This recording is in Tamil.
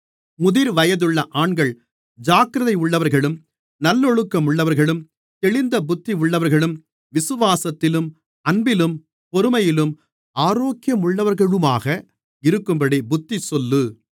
முதிர்வயதுள்ள ஆண்கள் ஜாக்கிரதையுள்ளவர்களும் நல்லொழுக்கமுள்ளவர்களும் தெளிந்த புத்தியுள்ளவர்களும் விசுவாசத்திலும் அன்பிலும் பொறுமையிலும் ஆரோக்கியமுள்ளவர்களுமாக இருக்கும்படி புத்திசொல்லு